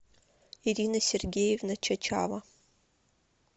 ирина сергеевна чачава